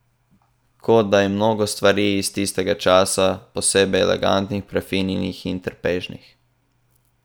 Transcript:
Kot da je mnogo stvari iz tistega časa posebej elegantnih, prefinjenih in trpežnih.